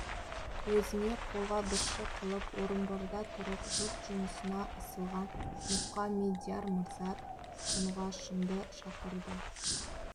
өзіне қолғабысшы қылып орынборда тұрып жұрт жұмысына ысылған мұқаммедияр мырза тұнғашынды шақырды